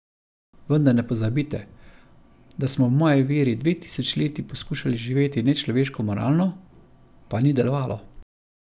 Vendar ne pozabite, da smo v moji veri dve tisočletji poskušali živeti nečloveško moralno, pa ni delovalo.